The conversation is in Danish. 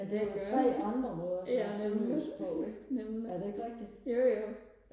ja det er jo tre andre måder og snakke sønderjysk på ikke er det ikke rigtigt